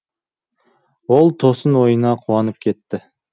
ол тосын ойына қуанып кетті